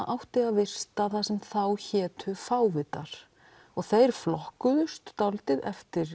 átti að vista það sem þá hétu fávitar og þeir flokkuðust dálítið eftir